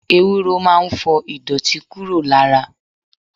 Ewúro máa ń fọ ìdọ̀tí kúrò lára.